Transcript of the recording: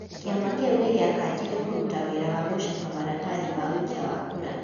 Kĩama kĩu nĩ gĩakanjire kũruta wĩra wa gũcaba maratathi ma ũikia wa kura ,